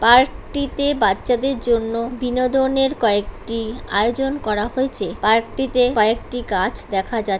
park -টিতে বাচ্চাদের জন্য বিনোদনের কয়েকটি আয়োজন করা হয়েছে পার্ক -টিতে কয়েকটি গাছ দেখা যা--